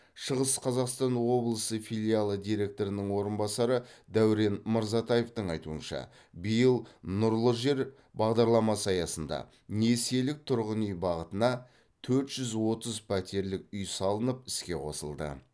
шығыс қазақстан облысы филиалы директорының орынбасары дәурен мырзатаевтың айтуынша биыл нұрлы жер бағдарламасы аясында несиелік тұрғын үй бағытына төрт жүз отыз пәтерлік үй салынып іске қосылды